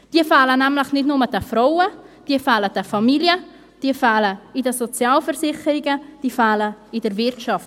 Diese fehlen nämlich nicht nur den Frauen, diese fehlen den Familien, diese fehlen in den Sozialversicherungen, diese fehlen in der Wirtschaft.